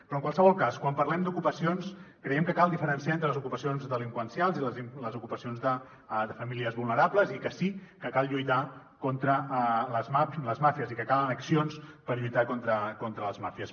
però en qualsevol cas quan parlem d’ocupacions creiem que cal diferenciar entre les ocupacions delinqüencials i les ocupacions de famílies vulnerables i que sí que cal lluitar contra les màfies i les màfies i que calen accions per lluitar contra les màfies